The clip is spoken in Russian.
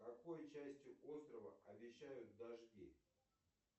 в какой части острова обещают дожди